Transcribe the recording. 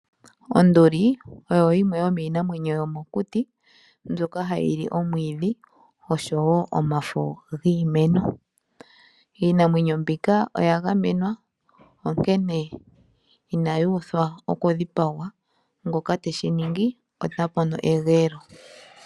Onduli oyo yimwe yomiinamwenyo yomokuti mbyoka hayi li omwiidhi oshowo omafo giimeno. Iinamwenyo mbika oya gamenwa onkene inayi uthwa oku dhipagwa, ngoka teshi ningi ota mono egeelo.